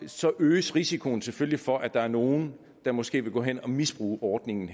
så øges risikoen selvfølgelig for at der er nogle der måske vil gå hen og misbruge ordningen